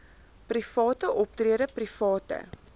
private optrede private